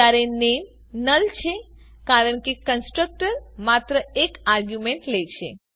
જ્યારે નામે નુલ છે કારણ કે કન્સ્ટ્રક્ટર માત્ર એક આરગ્યુંમેન્ટ લે છે